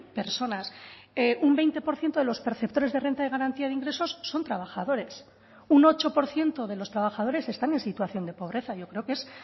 personas un veinte por ciento de los perceptores de renta de garantía de ingresos son trabajadores un ocho por ciento de los trabajadores están en situación de pobreza yo creo que es